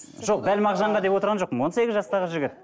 жоқ дәл мағжанға деп отырған жоқпын он сегіз жастағы жігіт